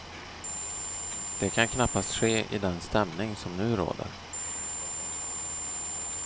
Det kan knappast ske i den stämning som nu råder.